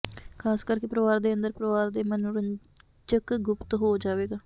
ਖ਼ਾਸ ਕਰਕੇ ਪਰਿਵਾਰ ਦੇ ਅੰਦਰ ਪਰਿਵਾਰ ਦੇ ਮਨੋਰੰਜਕ ਗੁਪਤ ਹੋ ਜਾਵੇਗਾ